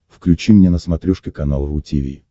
включи мне на смотрешке канал ру ти ви